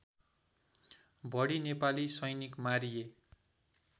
बढी नेपाली सैनिक मारिए